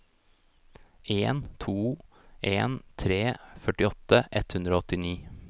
en to en tre førtiåtte ett hundre og åttini